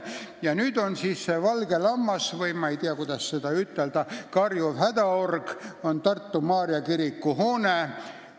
Ja see valge lammas või karjuv hädaorg on Tartu Maarja kiriku hoone.